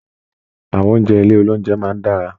Àwọn oúnjẹ ilé oloúnjẹ máa n dára.